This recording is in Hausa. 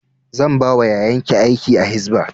Zan ba wa yayan ki aiki a hisba